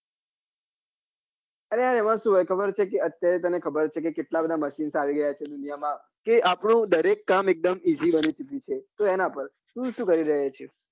તું શું કરી રહ્યો છે are યાર એમાં શું હોય ખબર છે કે અત્યારે તને ખબર જ છે કે કેટલા બધા machine આવી ગયા છે દુનિયા માં તે દરેક કામ આપડું એક દમ easy બની સકે છે તો એના પર